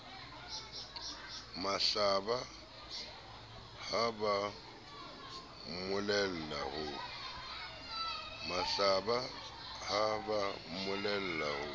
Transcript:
mahlaba ha ba mmolella ho